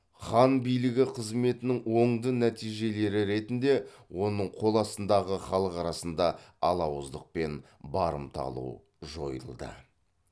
хан билігі қызметінің оңды нәтижелері ретінде оның қол астындағы халық арасында алауыздық пен барымта алу жойылды